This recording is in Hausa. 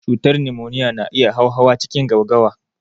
Cutar numoniya na iya hauhawa cikin gaugawa.